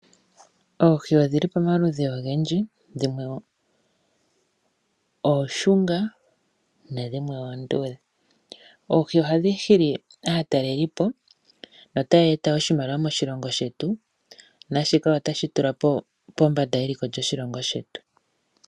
Oohi odhi li pamaludhi ogendji, dhimwe ooshunga nadhimwe oonduudhe. Oohi ohadhi hili aatalelipo notaya eta oshimaliwa moshilongo shetu naashika otashi tula pombanda eliko lyoshilongo shetu.